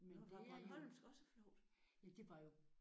Nåh var bornholmsk også flovt?